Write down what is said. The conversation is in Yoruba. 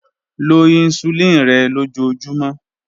Lo hisulini rẹ lojoojumọ.